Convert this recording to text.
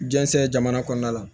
Jɛnsɛn jamana kɔnɔna la